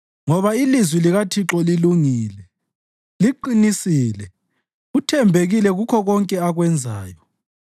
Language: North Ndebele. Ngoba ilizwi likaThixo lilungile, liqinisile; uthembekile kukho konke akwenzayo.